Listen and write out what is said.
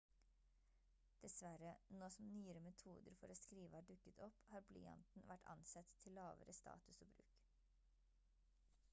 dessverre nå som nyere metoder for å skrive har dukket opp har blyanten vært ansett til lavere status og bruk